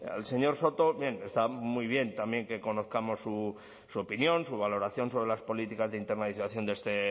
al señor soto bien está muy bien también que conozcamos su opinión su valoración sobre las políticas de internalización de este